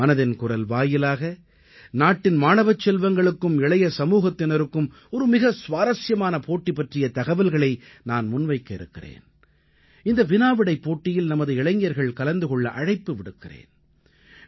இன்று மனதின் குரல் வாயிலாக நாட்டின் மாணவச் செல்வங்களுக்கும் இளைய சமூகத்தினருக்கும் ஒரு மிக சுவாரசியமான போட்டி பற்றிய தகவல்களை நான் முன்வைக்க இருக்கிறேன் இந்த வினாவிடைப் போட்டியில் நமது இளைஞர்கள் கலந்து கொள்ள அழைப்பு விடுக்கிறேன்